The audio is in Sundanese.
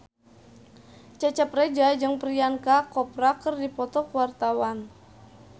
Cecep Reza jeung Priyanka Chopra keur dipoto ku wartawan